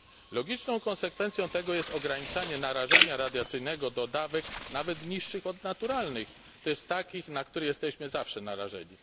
Logiczną konsekwencją tego jest ograniczanie narażania radiacyjnego do dawek nawet niższych od naturalnych, to jest takich, na które jesteśmy zawsze narażeni.